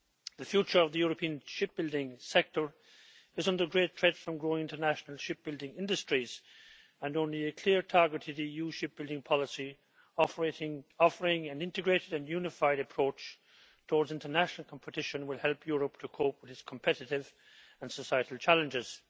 The future of the European shipbuilding sector is under great threat from growing international shipbuilding industries, and only a clear, targeted EU shipbuilding policy offering an integrated and unified approach towards international competition will help Europe to cope with these competitive and societal challenges.